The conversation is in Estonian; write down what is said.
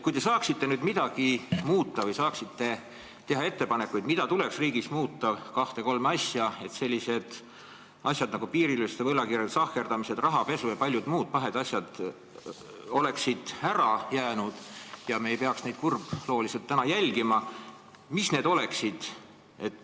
Kui te oleksite saanud midagi muuta või teha ettepanekuid, mis on need kaks-kolm asja, mida tuleks riigis muuta, et sellised pahad asjad nagu piiriüleste võlakirjadega sahkerdamine, rahapesu ja paljud muud oleksid ära jäänud ja me ei peaks neid kurblooliselt täna jälgima, siis mis need oleksid olnud?